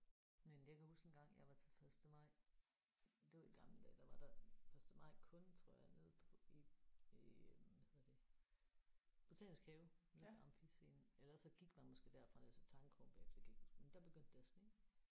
Men jeg kan huske engang jeg var til første maj det var i gamle dage der var der første maj kun tror jeg nede på i i øh hvad hedder det botanisk have nede ved Amfiscenen ellers så gik man måske derfra ned til Tangkrogen bagefter det kan jeg ikke huske men der begyndte det at sne